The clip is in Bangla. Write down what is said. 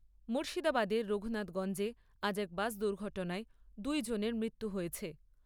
মুর্শিদাবাদের রঘুনাথগঞ্জে আজ এক বাস দুর্ঘটনায় দু জনের মৃত্যু হয়েছে।